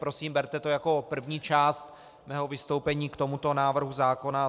Prosím, berte to jako první část mého vystoupení k tomuto návrhu zákona.